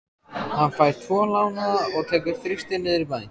Hann fær tvo lánaða og tekur Þristinn niður í bæ.